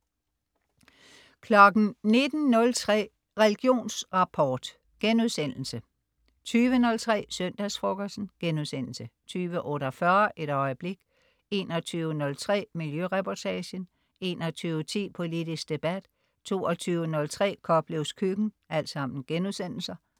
19.03 Religionsrapport* 20.03 Søndagsfrokosten* 20.48 Et øjeblik* 21.03 Miljøreportagen* 21.10 Politisk debat* 22.03 Koplevs Køkken*